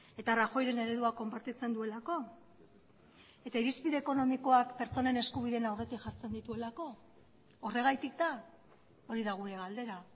eta rajoyren eredua konpartitzen duelako eta irizpide ekonomikoak pertsonen eskubideen aurretik jartzen dituelako horregatik da hori da gure galdera